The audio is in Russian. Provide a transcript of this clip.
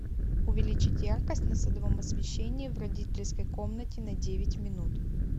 увеличить яркость на садовом освещении в родительской комнате на девять минут